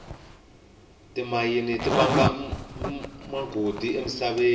timayini tivanga magoji emisaveni